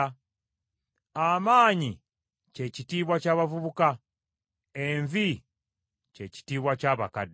Amaanyi kye kitiibwa ky’abavubuka, envi kye kitiibwa ky’abakadde.